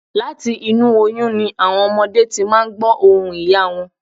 Láti inú oyún ni àwọn ọmọdé ti máà ń gbọ̀ ohùn ìyá wọn